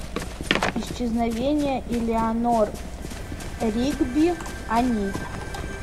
исчезновение элеанор ригби они